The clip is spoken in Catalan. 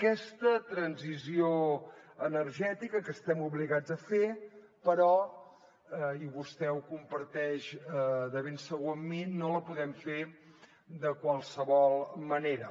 aquesta transició energètica que estem obligats a fer però i vostè ho comparteix de ben segur amb mi no la podem fer de qualsevol manera